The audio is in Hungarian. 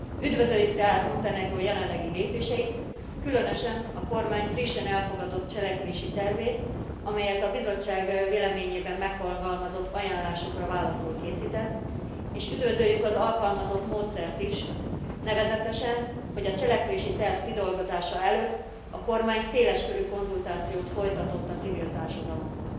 Üdvözöljük tehát Montenegró jelenlegi lépéseit, különösen a kormány frissen elfogadott cselekvési tervét, amelyet a Bizottság véleményében megfogalmazott ajánlásokra válaszul készített, és üdvözöljük az alkalmazott módszert is, nevezetesen, hogy a cselekvési terv kidolgozása előtt a kormány széles körű konzultációt folytatott a civil társadalommal.